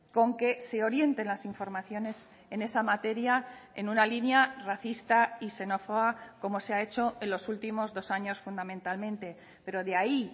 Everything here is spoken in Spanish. con que se orienten las informaciones en esa materia en una línea racista y xenófoba como se ha hecho en los últimos dos años fundamentalmente pero de ahí